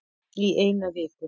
Í eina viku